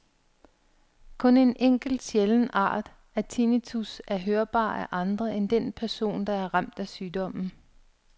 Kun en enkelt sjælden art af tinnitus er hørbar af andre end den person, der er ramt af sygdommen.